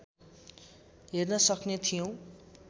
हेर्न सक्ने थियौँ